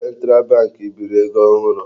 Central bank biri ego ohụrụ.